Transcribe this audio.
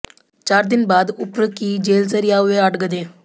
चार दिन बाद उप्र की जेल से रिहा हुए आठ गधे